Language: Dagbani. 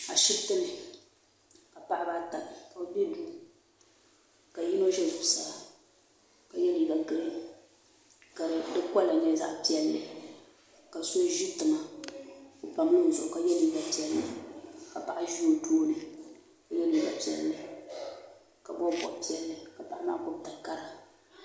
Ashiptini ka paɣaba ata ka bɛ biɛni ka yino ʒɛ zuɣusaa ka ye liiga ka di kola nyɛ zaɣa piɛlli ka so ʒi tiŋa o pamla o zuɣu ka ye liiga piɛlli ka paɣa ʒi o tooni ka ye liiga piɛlli ka bobi bob'piɛli ka paɣa maa gbibi takara.